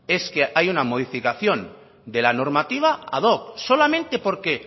es que haya una modificación de la normativa ad hoc solamente porque